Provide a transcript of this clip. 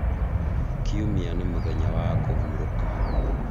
kiumia nĩ mũthenya wa kũhurũka